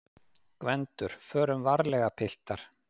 GVENDUR: Förum varlega, piltar!